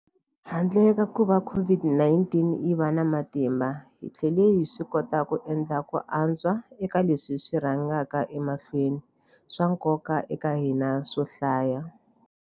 Handle ka kuva COVID-19 yi va na matimba, hi tlhele hi swikota ku endla ku antswa eka leswi swi rhangaka emahlweni swa nkoka eka hina swo hlaya.